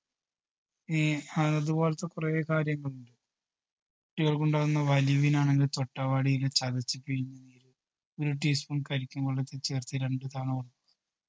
ഇനി അതുപോലത്തെ കൊറേ കാര്യങ്ങളുണ്ട് കുട്ടികൾക്കുണ്ടാകുന്ന വലിവിനാണെങ്കിൽ തൊട്ടാവാടിയില ചതച്ച് പിഴിഞ്ഞ് നീര് ഒരു teaspoon കരിക്കിൻ വെള്ളത്തി ചേർത്ത് രണ്ട് തവണ